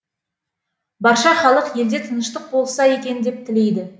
барша халық елде тыныштық болса екен деп тілейді